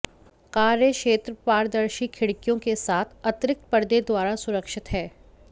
कार्य क्षेत्र पारदर्शी खिड़कियों के साथ अतिरिक्त पर्दे द्वारा सुरक्षित है